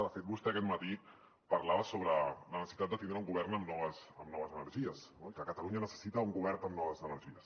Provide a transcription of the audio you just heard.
de fet vostè aquest matí parlava sobre la necessitat de tindre un govern amb noves energies i que catalunya necessita un govern amb noves energies